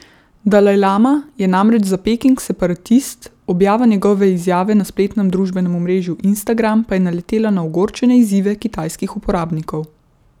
Dalajlama je namreč za Peking separatist, objava njegove izjave na spletnem družbenem omrežju Instagram pa je naletela na ogorčene izzive kitajskih uporabnikov.